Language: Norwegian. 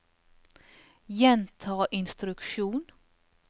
gjenta instruksjon